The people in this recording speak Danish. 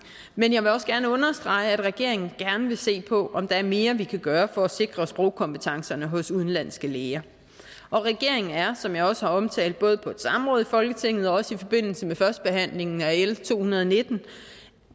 men jeg vil også gerne understrege at regeringen gerne vil se på om der er mere vi kan gøre for at sikre sprogkompetencerne hos udenlandske læger og regeringen er som jeg også har omtalt både på et samråd i folketinget og også i forbindelse med førstebehandlingen af l to hundrede og nitten